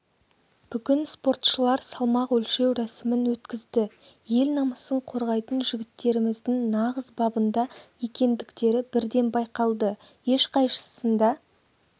бүгін спортшылар салмақ өлшеу рәсімін өткізді ел намысын қорғайтын жігіттеріміздің нағыз бабында екендіктері бірден байқалды ешқайсысында